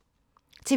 TV 2